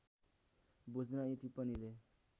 बुझ्न यी टिप्पणीले